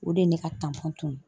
O de ye ne ka tunun